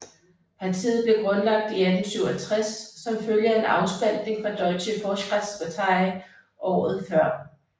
Partiet blev grundlagt i 1867 som følge af en afspaltning fra Deutsche Fortschrittspartei året før